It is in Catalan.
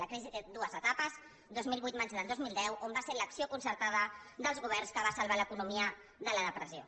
la crisi té dues etapes dos mil vuit maig del dos mil deu on va ser l’acció concertada dels governs que va salvar l’economia de la depressió